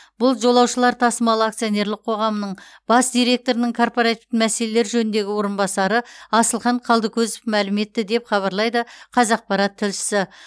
бұл жолаушылар тасымалы акционерлік қоғамының бас директорының корпоратив мәселелер жөніндегі орынбасары асылхан қалдыкозов мәлім етті деп хабарлайды қазақпарат тілшісі